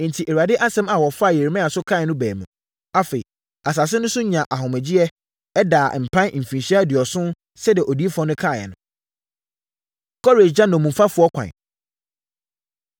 Enti, Awurade asɛm a wɔfaa Yeremia so kaeɛ no baa mu. Afei, asase no nso nyaa nʼahomegyeɛ, ɛdaa mpan mfirinhyia aduɔson sɛdeɛ odiyifoɔ no kaeɛ no. Kores Gya Nnommumfoɔ Ɛkwan